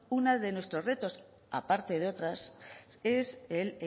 una de nuestros retos aparte de otras es el